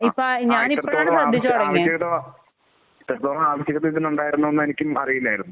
ആഹ്. ഇത്രത്തോളം ആവശ്യ ആവശ്യകത. ഇത്രത്തോളം ആവശ്യകത ഇതിനുണ്ടായിരുന്നു എന്ന് എനിക്കും അറിയില്ലായിരുന്നു.